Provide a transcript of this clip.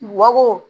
Bako